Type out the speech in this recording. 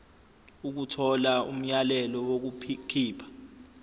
ukuthola umyalelo wokukhipha